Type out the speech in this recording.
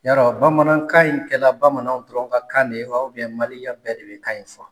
Yarɔ bamanankan in kɛla bamananw dɔrɔn ka kan de ye wa Mali ya bɛɛ de be kan in fɔ?